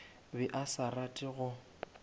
be a sa rate go